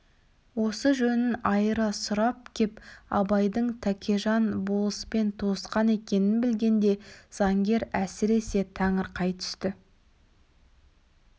осы жөнін айыра сұрап кеп абайдың тәкежан болыспен туысқан екенін білгенде заңгер әсіресе таңырқай түсті